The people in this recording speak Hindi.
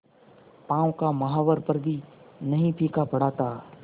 पांव का महावर पर भी नहीं फीका पड़ा था